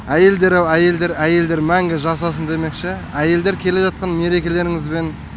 әйелдер ау әйелдер әйелдер мәңгі жасасын демекші әйелдер келе жатқан мерекелеріңізбен